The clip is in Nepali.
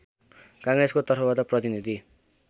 काङ्ग्रेसको तर्फबाट प्रतिनीधि